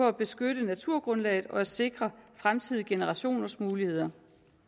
at beskytte naturgrundlaget og sikre fremtidige generationers muligheder